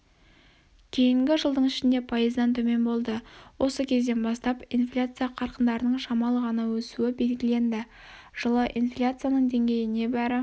кейінгі жылдың ішінде пайыздан төмен болды осы кезден бастап инфляция қарқындарының шамалы ғана өсуі белгіленді жылы инфляцияның деңгейі небәрі